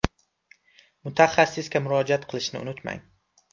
Mutaxassisga murojaat qilishni unutmang.